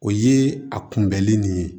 O ye a kunbɛli nin ye